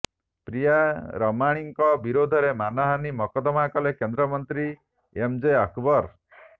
ପ୍ରିୟା ରମାଣୀଙ୍କ ବିରୋଧରେ ମାନହାନି ମକଦ୍ଦମା କଲେ କେନ୍ଦ୍ରମନ୍ତ୍ରୀ ଏମ ଜେ ଆକବର